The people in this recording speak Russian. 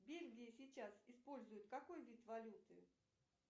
в бельгии сейчас используют какой вид валюты